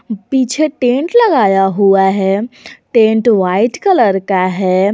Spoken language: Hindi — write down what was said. पीछे टेंट लगाया हुआ है टेंट वाइट कलर का है।